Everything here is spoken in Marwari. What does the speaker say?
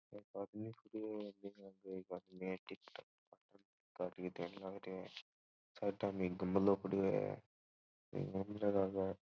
गमलो पड़ियो है --